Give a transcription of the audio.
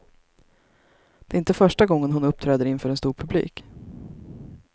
Det är inte första gången hon uppträder inför en stor publik.